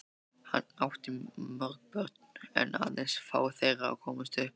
Hann átti mörg börn en aðeins fá þeirra komust upp.